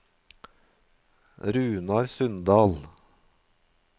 Runar Sundal